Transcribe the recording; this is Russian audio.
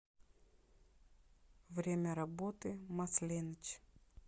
время работы масленыч